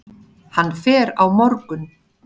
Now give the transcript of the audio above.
Hann fer á morgun.